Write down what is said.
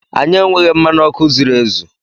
Anyị enweghị mmanụ ọkụ zuru ezu.